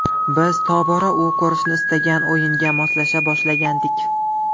Biz tobora u ko‘rishni istagan o‘yinga moslasha boshlagandik.